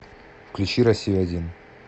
включи россию один